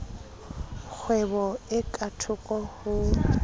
kgwebo e ka thoko ho